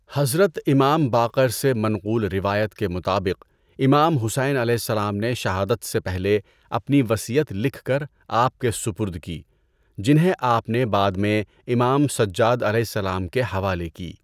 حضرت امام باقر سے منقول روایت کے مطابق امام حسینؑ نے شہادت سے پہلے اپنی وصیت لکھ کر آپ کے سپرد کی جنہیں آپ نے بعد میں امام سجادؑ کے حوالے کی۔